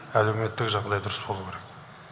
әлеуметтік жағдай дұрыс болу керек